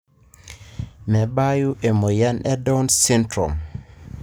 mebayu emoyian e down syndrome.